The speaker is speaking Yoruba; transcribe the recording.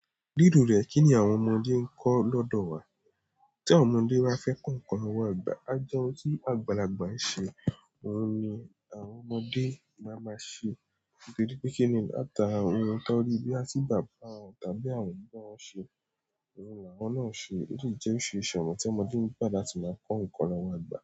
Ríro rẹ̀ kí ni àwọn ọmọdé ń kọ́ lọ́dọ̀ wa? Tí àwọn ọmọdé bá fẹ́ kọ́ nǹkan lọwọ ìgbà, a je ohun tí àgbàlagbà ń ṣe, òun ni àwọn ọmọdé máa máa ṣe. Nítorí pé kíni, látara ohun tó rí boya tí bàbà wọ́n tàbí àwọn òbí wọn ṣe, òun ni awọ́n náà ṣe, o si jẹ́ oríṣiríṣi ọ̀nà ti ọmọdé ń gbà láti máa kọ́ nǹkan lọ́wọ́ àgbà.